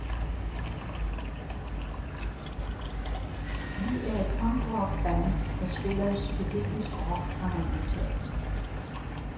Vi er et punkrock band, der spiller psykedelisk rock, har han udtalt.